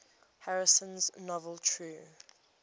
harrison's novel true